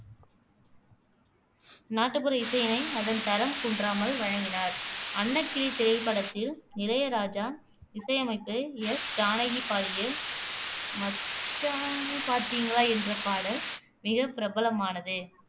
நாட்டுப்புற இசையினை அதன் தரம் குன்றாமல் வழங்கினார் அன்னக்கிளி திரைப்படத்தில் இளையராஜா இசையமைத்து எஸ் ஜானகி பாடிய மச்சானைப் பாத்தீங்களா என்ற பாடல் மிகப் பிரபலமானது